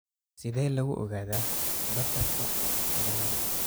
Sidee lagu ogaadaa Bartterka ciladaha?